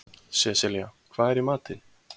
Seselía, hvað er í matinn?